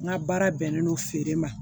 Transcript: N ka baara bɛnnen don feere ma